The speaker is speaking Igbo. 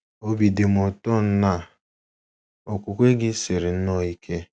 Obi dị m ụtọ na okwukwe gị siri nnọọ ike! ’